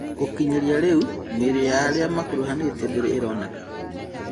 Gũkinyĩria rĩu, mĩrĩ ya arĩa makuruhanĩtio ndĩrĩ ĩroneka.